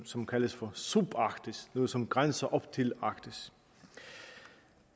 som kaldes for subarktis noget som grænser op til arktis